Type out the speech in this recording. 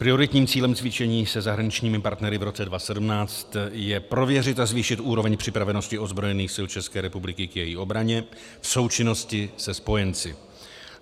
Prioritním cílem cvičení se zahraničními partnery v roce 2017 je prověřit a zvýšit úroveň připravenosti ozbrojených sil České republiky k její obraně v součinnosti se spojenci.